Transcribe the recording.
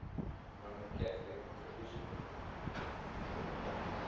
roman catholic tradition